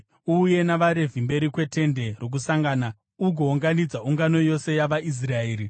Uuye navaRevhi mberi kweTende Rokusangana ugounganidza ungano yose yavaIsraeri.